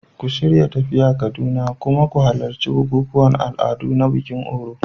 Ku shirya tafiya Kaduna, kuma ku halarci bukukuwan al'adu na bikin Òrò.